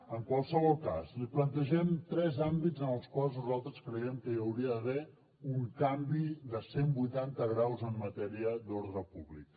en qualsevol cas li plantegem tres àmbits en els quals nosaltres creiem que hi hauria d’haver un canvi de cent vuitanta graus en matèria d’ordre públic